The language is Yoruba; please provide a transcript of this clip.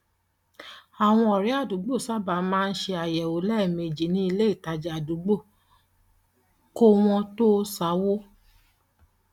àwọn ọrẹ àdúgbò sábà máa ń ṣe àyẹwò lẹẹmejì ní ilé ìtajà àdúgbò kó wọn tó sá owó